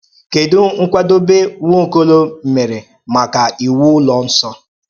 Kèdụ̀ nkwàdòbé Nwaọ́kò̩ló̩ mèrè̄ maka iwú Ụ́lọ̩ Nsọ?